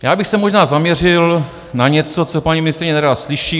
Já bych se možná zaměřil na něco, co paní ministryně nerada slyší.